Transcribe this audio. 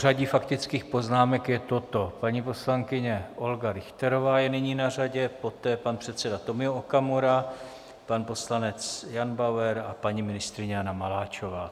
Pořadí faktických poznámek je toto: paní poslankyně Olga Richterová je nyní na řadě, poté pan předseda Tomio Okamura, pan poslanec Jan Bauer a paní ministryně Jana Maláčová.